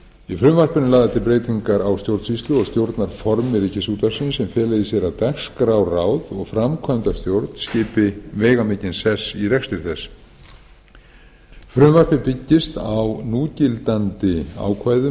í frumvarpinu eru lagðar til breytingar á stjórnsýslu og stjórnarformi ríkisútvarpsins sem fela í sér að dagskrárráð og framkvæmdastjórn skipi veigamikinn sess í rekstri þess frumvarpið byggist á núgildandi ákvæðum